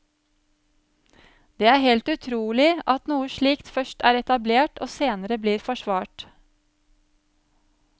Det er helt utrolig at noe slikt først er etablert og senere blir forsvart.